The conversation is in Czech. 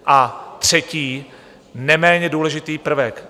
A třetí, neméně důležitý prvek.